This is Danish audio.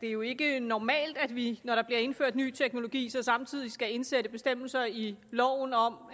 det er jo ikke normalt at vi når der bliver indført ny teknologi samtidig skal indsætte bestemmelser i loven om